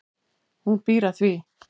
Hún býr að því.